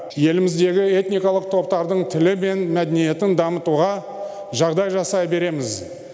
еліміздегі этникалық топтардың тілі мен мәдениетін дамытуға жағдай жасай береміз